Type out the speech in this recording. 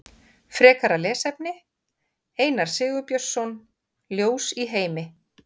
Frekara lesefni: Einar Sigurbjörnsson, Ljós í heimi.